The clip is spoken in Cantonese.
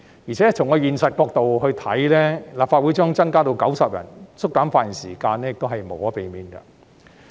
而且，從現實角度來看，立法會議員將增加至90人，縮減發言時間也是無可避免的。